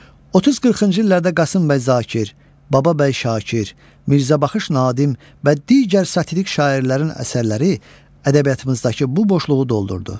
30-40-cı illərdə Qasım bəy Zakir, Bababəy Şakir, Mirzəbaxış Nadim və digər satirik şairlərin əsərləri ədəbiyyatımızdakı bu boşluğu doldurdu.